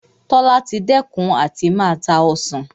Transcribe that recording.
Tola ti dẹ́kun àti máa ta Ọsàn